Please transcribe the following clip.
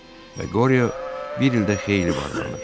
Və Qoriyo bir ildə xeyli varlanırdı.